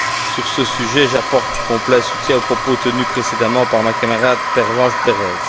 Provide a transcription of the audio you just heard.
Sur ce sujet, j'apporte mon plein soutien aux propos tenus précédemment par ma camarade Pervenche Berès.